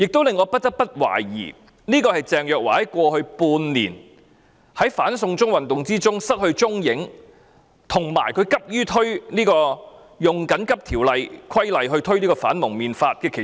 在過去半年，鄭若驊在"反送中"運動中失去蹤影，以及她急於引用《緊急情況規例條例》推出《禁止蒙面規例》。